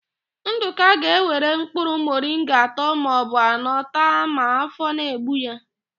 Ndụka ga-ewere mkpụrụ mọringa atọ maọbụ anọ taa ma áfọ̀ na-egbu ya.